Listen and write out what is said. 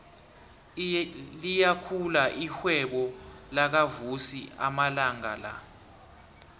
liyakhula irhwebo lakavusi amalanga la